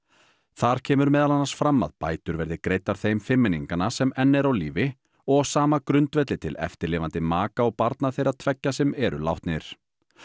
þar kemur meðal annars fram að bætur verði greiddar þeim fimmmenninganna sem enn eru á lífi og á sama grundvelli til eftirlifandi maka og barna þeirra tveggja sem eru látnir